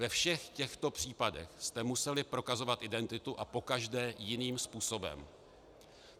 Ve všech těchto případech jste museli prokazovat identitu a pokaždé jiným způsobem.